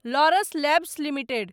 Laurus Labs limited